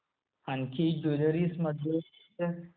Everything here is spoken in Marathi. आणखी ज्वेलरीमध्ये काय असते?